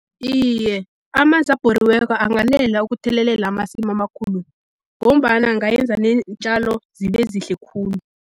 Iye, amanzi abhoriweko anganela ukuthelelela amasimu amakhulu, ngombana angayenza neentjalo zibe zihle khulu.